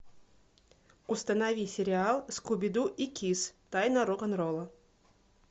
установи сериал скуби ду и кисс тайна рок н ролла